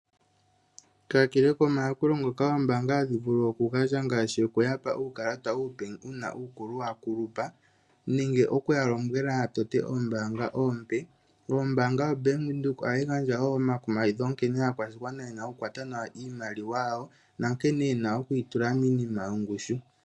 Kakele ko mayakulo ngoka oombaanga hadhi vulu oku gandja ngaashi oku yapa uukalata uupe, uuna uukulu wa kulupa, nenge oku ya lombwela ya tote oombaanga oompe, ombaanga yo Bank Widhoek oha yi gandja woo omakumagidho nkene aakwashigwana yena oku kwata nawa iimaliwa yawo, nankene yena oku yi tula miinima yongushu.